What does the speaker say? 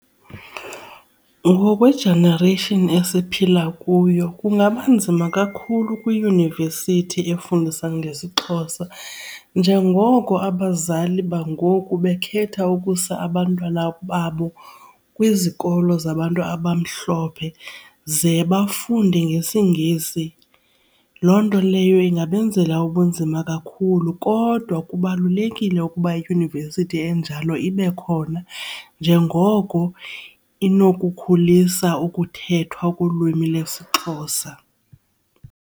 Ngokwe-generation esiphila kuyo kungaba nzima kakhulu kwiyunivesithi efundisa ngesiXhosa njengoko abazali bangoku bekhetha ukusa abantwana babo kwizikolo zabantu abamhlophe ze bafunde ngesiNgesi. Loo nto leyo ingabenzela ubunzima kakhulu kodwa kubalulekile le ukuba iyunivesithi enjalo ibe khona njengoko inokukhulisa ukuthethwa kolwimi lwesiXhosa.